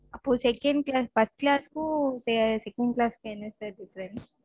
அப்பொ second class first class க்கும் second class க்கும் என்ன sir different